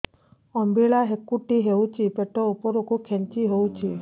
ଅମ୍ବିଳା ହେକୁଟୀ ହେଉଛି ପେଟ ଉପରକୁ ଖେଞ୍ଚି ହଉଚି